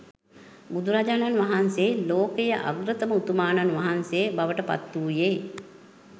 බුදුරජාණන් වහන්සේ ලෝකයේ අග්‍රතම උතුමාණන් වහන්සේ බවට පත් වූයේ